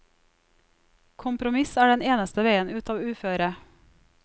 Kompromiss er den eneste veien ut av uføret.